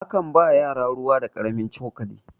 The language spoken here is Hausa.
a kan ba yara ruwa da karamin cokali